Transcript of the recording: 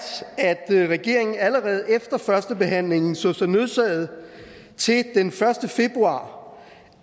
at regeringen allerede efter førstebehandlingen så sig nødsaget til den første februar